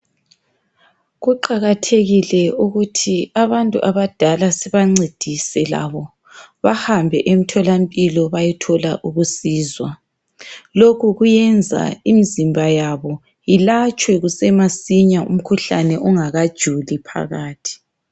Kuqakathekile ukuthi abantu abadala sibancedise labo. Bahambe emtholampilo, bayethola ukusizwa. Lokhu kuyenza imizimba yabo, ilatshwe kusasemasinya. Umkhuhlane, ungakajuli phakathi.